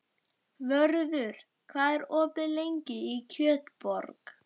Vörður, hvað er opið lengi í Kjötborg?